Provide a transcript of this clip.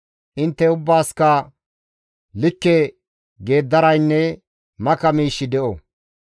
Intte ubbaasikka likke geeddaraynne maka miishshi de7o.